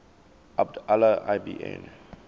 abd allah ibn